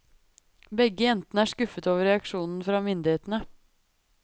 Begge jentene er skuffet over reaksjonene fra myndighetene.